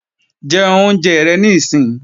Jẹ oúnjẹ rẹ níìsín!